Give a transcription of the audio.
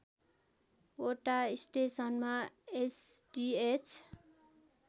वटा स्टेसनमा एसडिएच